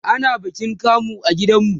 ana bikin kamu a gidan mu